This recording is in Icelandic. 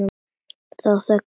Þá þekkist maður.